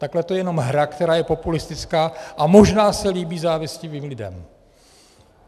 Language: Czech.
Takhle to je jenom hra, která je populistická a možná se líbí závistivým lidem.